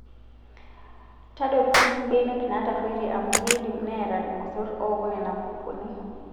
Tadotu sii mbenek naatarruoitie amuu kidim Neeta irmosorr ooku Nena kukuni.